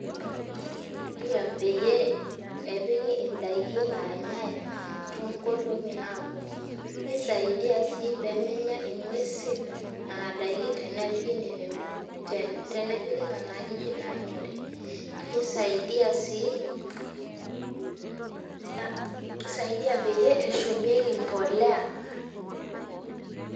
Kisaidia peyie epiki ndaiki naanyai toonkolong'i naaponu nisaidia sii pee menya ng'uesi nena daiki tenepiki nena ajijik naanyori nisaidia sii peyie eshumieki mbolea.